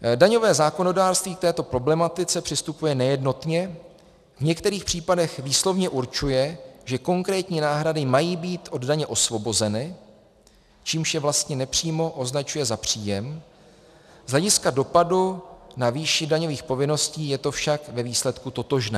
Daňové zákonodárství k této problematice přistupuje nejednotně, v některých případech výslovně určuje, že konkrétní náhrady mají být od daně osvobozeny, čímž je vlastně nepřímo označuje za příjem, z hlediska dopadu na výši daňových povinností je to však ve výsledku totožné.